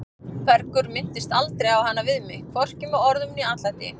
Bergur minntist aldrei á hana við mig, hvorki með orðum né atlæti.